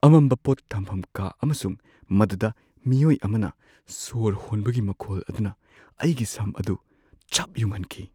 ꯑꯃꯝꯕ ꯄꯣꯠ ꯊꯝꯐꯝ ꯀꯥ ꯑꯃꯁꯨꯡ ꯃꯗꯨꯗ ꯃꯤꯑꯣꯏ ꯑꯃꯅ ꯁꯣꯔ ꯍꯣꯟꯕꯒꯤ ꯃꯈꯣꯜ ꯑꯗꯨꯅ ꯑꯩꯒꯤ ꯁꯝ ꯑꯗꯨ ꯆꯞ ꯌꯨꯡꯍꯟꯈꯤ꯫